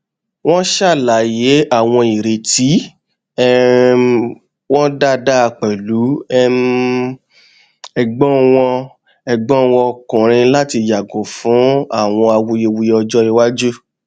wọn ṣàlàyé àwọn ìrètí um wọn dáadáa pẹlú um ẹgbọn wọn ẹgbọn wọn ọkùnrin láti yàgò fún àwọn awuyewuye ọjọ iwájú